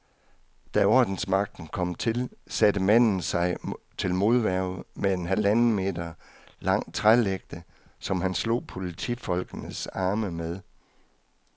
Da ordensmagten kom til, satte manden sig til modværge med en halvanden meter lang trælægte, som han slog politifolkenes arme med.